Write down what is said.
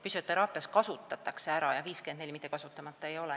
Füsioteraapias kasutatakse ära, jah, 54% mahust, mitte see ei jää kasutamata.